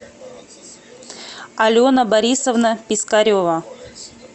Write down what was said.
алена борисовна пискарева